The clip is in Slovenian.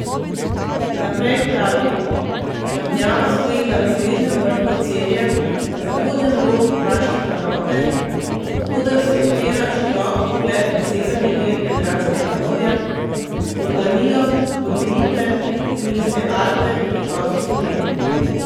Naprej pravi: 'Trdnjava stoji na razglednem vrhu Cerje, na zahodnem robu kraške planote, od koder se odpira širok pogled na severni del Jadranskega morja, Furlanijo, Dolomite, Julijske Alpe, Vipavsko dolino.